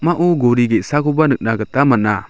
pakmao gori ge·sakoba nikna gita man·a.